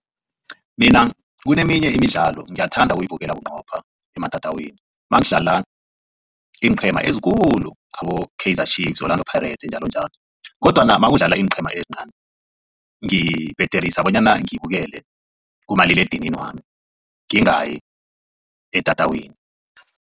Mina kuneminye imidlalo ngiyathanda ukuyibukela bunqopha ematatawini nakudlala iinqhema ezikhulu abo-Kaizer Chiefs, Orlando Pirates njalonjalo kodwana nakudlala iinqhema ezincani ngibhederisa bonyana ngibukele kumaliledinini wami ngingayi etatawini.